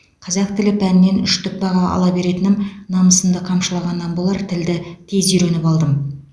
қазақ тілі пәнінен үштік баға ала беретінім намысымды қамшылағаннан болар тілді тез үйреніп алдым